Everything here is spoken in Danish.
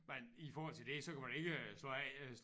Man i forhold til det så kan man ikke slå af øh